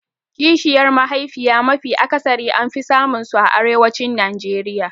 Kishiyar mahaifiya mafi akasari an fi samun su a arewacin Najeriya